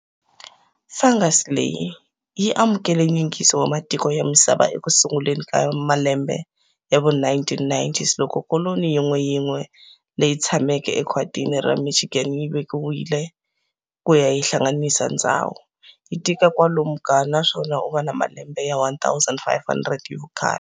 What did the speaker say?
Fungus leyi yi amukele nyingiso wa matiko ya misava ekusunguleni ka malembe yava 1990s loko koloni yin'we yin'we leyi tshamaka e khwatini ra Michigan yi vikiwile kuva yi hlanganisa ndzhawu ya, yi tika kwalomu ka, naswona u va ni malembe ya 1 500 hi vukhale.